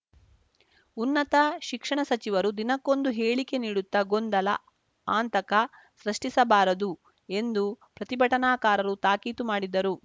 ಉನ್ನತ ಶಿಕ್ಷಣ ಸಚಿವರು ದಿನಕ್ಕೊಂದು ಹೇಳಿಕೆ ನೀಡುತ್ತಾ ಗೊಂದಲ ಆಂತಕ ಸೃಷ್ಟಿಸಬಾರದು ಎಂದು ಪ್ರತಿಭಟನಾಕಾರರು ತಾಕೀತು ಮಾಡಿದರು